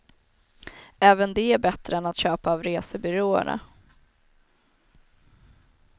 Även det är bättre än att köpa av resebyråerna.